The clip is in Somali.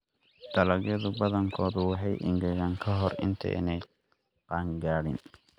Dalagyada badankoodu way engegaan ka hor intaanay qaan gaadhin.